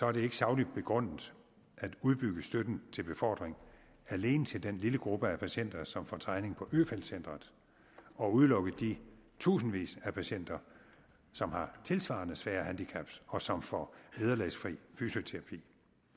er det ikke sagligt begrundet at udbygge støtten til befordring alene til den lille gruppe af patienter som får træning på øfeldt centret og udelukke de tusindvis af patienter som har tilsvarende svære handicap og som får vederlagsfri fysioterapi